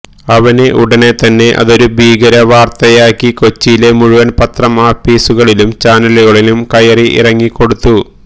അവന് ഉടന് തന്നെ അതൊരു ഭീകര വാര്ത്തയാക്കി കൊച്ചിയിലെ മുഴുവന് പത്രം ആപ്പീസുകളിലും ചാനലുകളിലും കയറി ഇറങ്ങി കൊടുത്തു